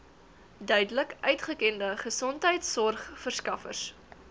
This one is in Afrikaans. duidelik uitgekende gesondheidsorgverskaffers